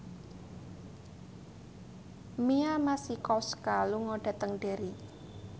Mia Masikowska lunga dhateng Derry